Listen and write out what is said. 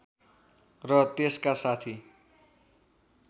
र त्यसका साथी